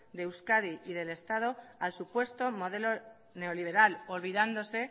de euskadi y del estado al supuesto modelo neoliberal olvidándose